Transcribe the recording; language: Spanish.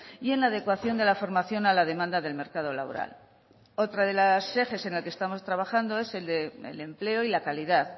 y en la adecuación de la formación a la demanda del mercado laboral otro de los ejes en el que estamos trabajando en que estamos trabajando es el del empleo y la calidad